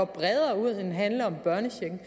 bredere ud end at handle om børnechecken